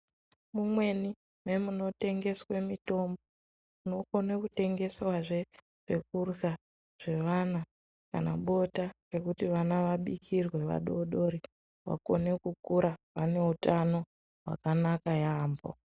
Mumweni nemuno tengeswe mitombo munokone kutengeswa zve zvekurya zvevana kana bota rekuti vana vabikirwe vadodori vagone kukura vaneutano hwakanaka yamho.